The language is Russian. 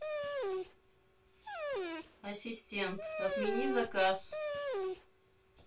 ассистент отмени заказ